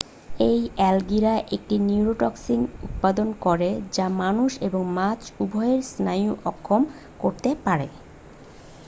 এই অ্যালগিরা একটি নিউরোটক্সিন উৎপাদন করে যা মানুষ এবং মাছ উভইয়েরই স্নায়ু অক্ষম করতে পারে